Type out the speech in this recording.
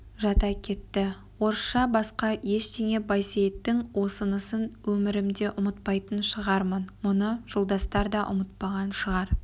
жата кетті орысша басқа ештеңе байсейіттің осынысын өмірімде ұмытпайтын шығармын мұны жолдастар да ұмытпаған шығар